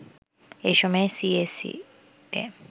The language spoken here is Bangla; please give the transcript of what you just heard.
এ সময়ে সিএসইতে